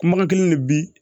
Kumakan kelen de bi